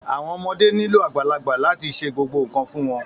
Àwọn ọmọdé nílò àgbàlagbà láti ṣe gbogbo nkan fún wọn.